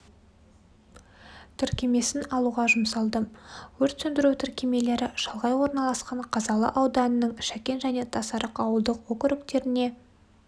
тіркемесін алуға жұмсалды өрт сөндіру тіркемелері шалғай орналасқан қазалы ауданының шәкен және тасарық ауылдық округтеріне